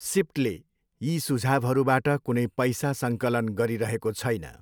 सिप्टले यी सुझाउहरूबाट कुनै पैसा सङ्कलन गरिरहेको छैन।